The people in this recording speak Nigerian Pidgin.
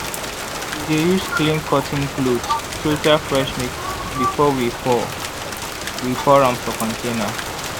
we dey use clean cotton cloth filter fresh milk before we pour we pour am for container.